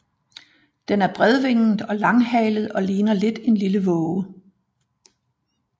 Den er bredvinget og langhalet og ligner lidt en lille våge